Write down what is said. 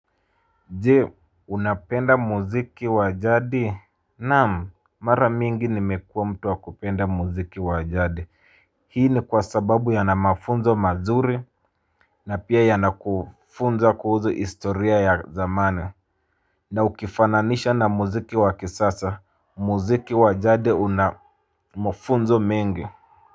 Je unapenda muziki wa jadi. Naam mara mingi nimekuwa mtu wa kupenda muziki wa jadi. Hii ni kwa sababu yana mafunzo mazuri. Na pia yanakufunza kuhusu istoria ya zamani. Na ukifananisha na muziki wakisasa muziki wa jadi una mafunzo mengi.